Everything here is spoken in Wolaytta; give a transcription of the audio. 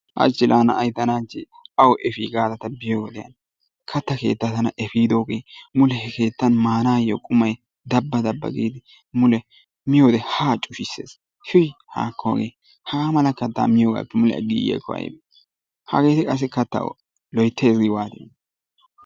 hachchi laa tana na'ayi tana hachchi awu efii giyoodee katta tana effidooge mule he keettan maanayyoo qumay dabba dabba giidi mule miyoodee haa cushussees. tuy haakko hagee hagaa mala kattaa miyoogaappe mule aggiigiyaakko ayibee? hageeti qassi kattaa loyittayisi gi waatiyoonaa?